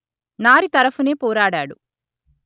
నారి తరఫునే పోరాడాడు